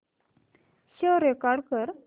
show record कर